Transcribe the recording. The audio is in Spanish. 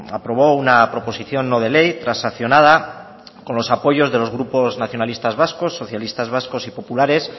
aprobó una proposición no de ley transaccionada con los apoyos de los grupos nacionalista vascos socialistas vascos y populares